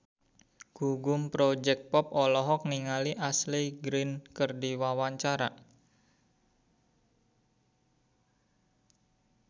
Gugum Project Pop olohok ningali Ashley Greene keur diwawancara